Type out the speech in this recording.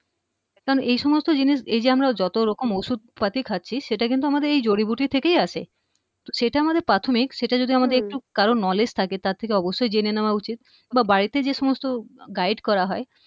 কারণ এই সমস্ত জিনিস এইযে আমরা যত রকম ওষুধ পাতি খাচ্ছি সেটা কিন্তু আমাদের এই জড়িবুটি থেকেই আসে সেটা আমাদের প্রাথমিক সেটা যদি আমাদের একটু কারো knowledge থাকে তার থেকে অবশ্যই জেনে নেয়া উচিৎ বা বাড়িতে যে সমস্ত গাইড করা হয়